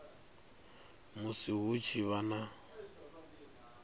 musi hu tshi vha na